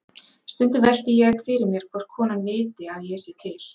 Stundum velti ég fyrir mér hvort konan viti að ég sé til.